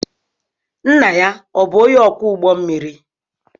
Nna ya ọ̀ bụ onye ọkwọ ụgbọ mmiri?